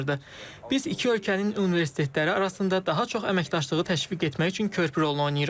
Biz iki ölkənin universitetləri arasında daha çox əməkdaşlığı təşviq etmək üçün körpü rolunu oynayırıq.